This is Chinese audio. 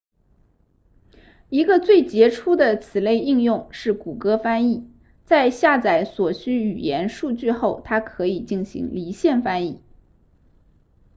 一个最杰出的此类应用是谷歌翻译在下载所需语言数据后它可以进行离线翻译